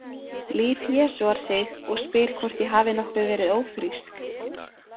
Líf jesúar sig og spyr hvort ég hafi nokkuð verið ófrísk.